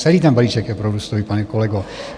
Celý ten balíček je prorůstový, pane kolego.